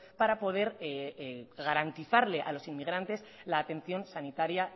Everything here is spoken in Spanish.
para poder garantizarle a los inmigrantes la atención sanitaria